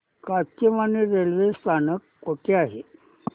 Kachewani railway स्थानक कुठे आहे